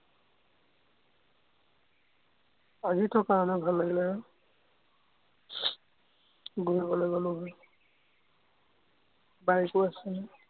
আজি থকা হলে ভাল লাগিলে হয়, গৌৰীসাগৰলৈ গ'লো হয়, bike ও আছিলে।